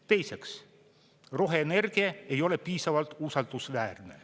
Teiseks, roheenergia ei ole piisavalt usaldusväärne.